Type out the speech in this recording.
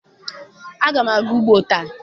Agam aga ugbo ta.